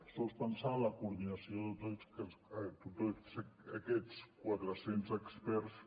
sols pensar en la coordinació de tots aquests quatre cents experts